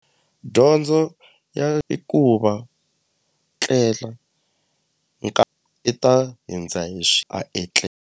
Dyondzo ya i ku va tlela i ta hundza hi a .